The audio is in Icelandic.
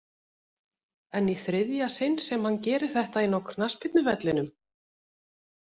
En í þriðja sinn sem hann gerir þetta inná knattspyrnuvellinum?